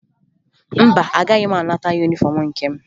Mba, agaghị m anata yunifọmụ nke m